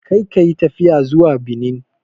Kar ka yi tafiya zuwa Benin!